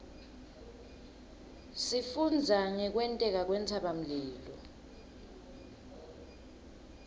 sifundza ngekwenteka kwentsabamlilo